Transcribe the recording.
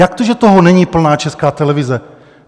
Jak to, že toho není plná Česká televize?